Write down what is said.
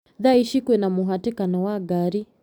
Thaa ici kwĩna mũhatĩkano wa ngari